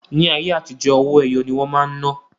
Ní ayé àtijó, owó-ẹyọ ní wọn máa ń ná